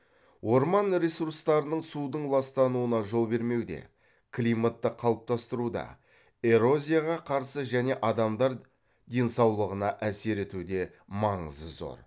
орман ресурстарының судың ластануына жол бермеуде климатты қалыптастыруда эрозияға қарсы және адамдар денсаулығына әсер етуде маңызы зор